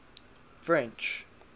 french